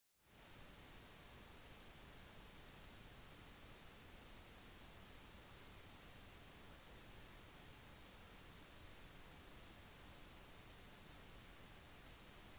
til forskjell fra andre primater bruker ikke hominider lenger hendene til å bevege seg bære vekt eller svinge seg mellom trærne